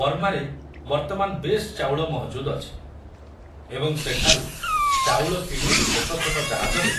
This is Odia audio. ବର୍ମାରେ ବର୍ତ୍ତମାନ ବେଶ ଚାଉଳ ମହଜୁଦ ଅଛି ଏବଂ ସେଠାରୁ ଚାଉଳ କିଣି ଛୋଟ ଛୋଟ ଜାହାଜରେ